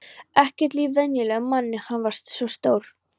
Ekkert líkt venjulegum manni, hann var svo stór.